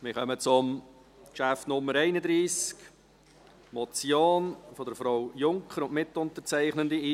Wir kommen zum Traktandum 31, einer Motion von Frau Junker Burkhard und Mitunterzeichnenden: